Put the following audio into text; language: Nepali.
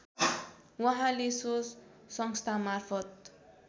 उहाँले सो संस्थामार्फत